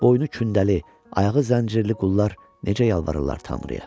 boynu kündəli, ayağı zəncirli qullar necə yalvarırlar Tanrıya?